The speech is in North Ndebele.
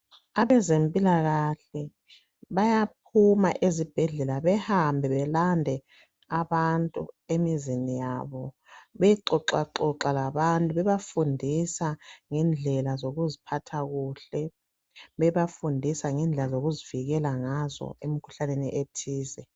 Abezempilakahle bayaphuma ezibhedlela behambe belande abantu emizini yabo beyexoxaxoxa labantu bebafundisa ngendlela zokuziphatha kuhle bebafundisa ngendlela zokuzivikela ngazo emkhuhlaneni ethize.